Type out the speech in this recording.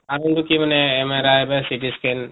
আৰু কি মানে